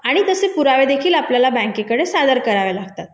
आणि तसे पुरावे देखील आपल्याला बँकेकडे सादर करावे लागतात